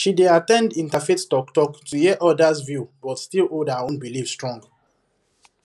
she dey at ten d interfaith talktalk to hear others view but still hold her own belief strong